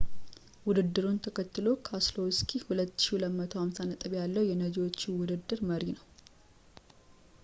ውድድሩን ተከትሎ ፣ ካሰሎውስኪ 2,250 ነጥብ ያለው የነጂዎች ውድድር መሪ ነው